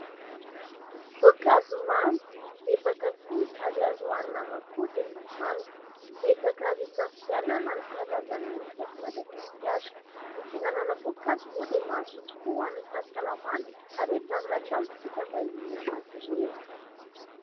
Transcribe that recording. Voankazo mamy ! Be mpakafy ary azo hohanina ama-kodiny ny manga, betsaka azo hisafidianana ny karazany misy eto Madagasikara ; ny fihinanana voankazo moa dia mahasoa tokoa ho an'ny fahasalamana ary entanina hatrany isika mba hihinana azy ireny.